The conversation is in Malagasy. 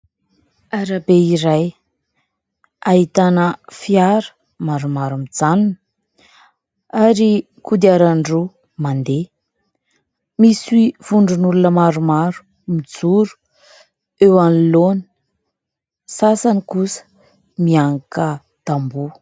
Arabe iray ahitana fiara maromaro mijanona ary kodiaran-droa mandeha, misy vondron'olona maromaro mijoroeo anoloana; ny asany kosa miankin-tamboho.